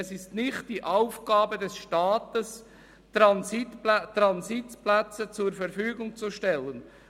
Es ist nicht die Aufgabe des Staates, Transitplätze zur Verfügung zu stellen.